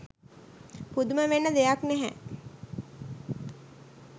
පුදුම වෙන්න දෙයක් නැහැ.